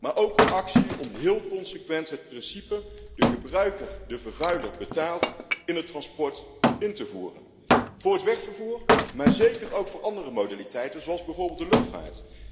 Maar ook actie om heel consequent het principe dat de gebruiker, de vervuiler betaalt, in het transport in te voeren, voor het wegvervoer, maar zeker ook voor andere modaliteiten zoals bijvoorbeeld de luchtvaart.